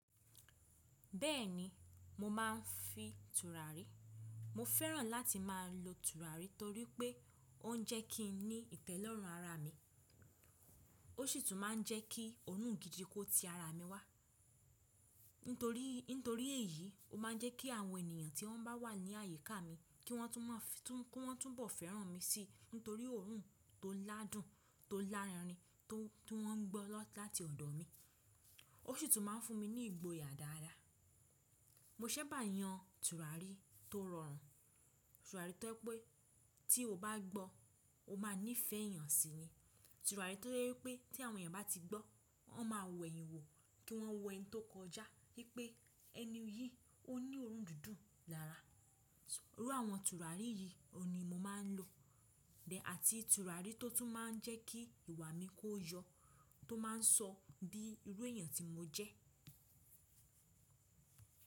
Bẹ́ẹ̀ni, mo máa ń fi tùràrí. Mo fẹ́ràn láti máa lo tùràrí torí pé ó ń jẹ́ kí n ní ìtẹ́lọ́rùn ara mi. Ó sì tún máa ń jẹ́ kí òórùn gidi kó ti ara mi wá. Nítorí, nítorí èyí, ó máa ń jẹ́ kí àwọn ènìyàn tí wọ́n bá wà ní àyíká mi kí wọ́n tún máa fìtún, kí wọ́n tún bọ̀ fẹ́ràn mi sí torí òórùn tó ládùn, tó lárenri tó, tó wọ́n ń gbọ́ láti ọ̀dọ̀ mi. Ó sì tún máa ń fún mi ní ìgboyà dáadáa. Mo ṣẹ̀ bá yan tùràrí tó rọrùn. Tùràrí tó ye pé tí o bá gbọ́ o máa níìfẹ̀ẹ́ èèyàn síi ni. Tùràrí tó jé wipé tí àwọn èèyàn bá ti gbọ́, wọ́n máa wẹ̀yin wò kí wọ́n wọ ẹni tó kọjá wípé ẹni yìí ó ní òórùn dídùn lára. Irú àwọn tùràrí yìí ni mo máa ń lò. Bẹ́ àti tùràrí tó tún máa ń jẹ́ kí ìwà mi kó yọ, tó máa ń sọ bí irú èèyàn tí mo jẹ́.